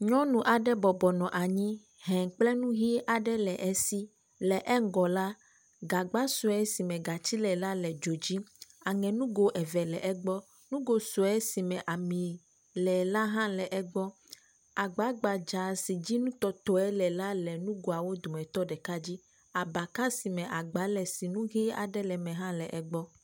Nyɔnu aɖe bɔbɔnɔ anyi he kple nu ʋi aɖe le esi le eŋugɔ la, gagba sue si me gatsi le la le dzo dzi aŋe nugo eve le egbɔ, nugo sue si me ami le la hã le egbɔ agba gbadza si dzi nutɔtɔe le la le nugoawo dometɔ ɖeka dzi. Abaka si me agba le si nu ʋi aɖe le eme hã le egbɔ.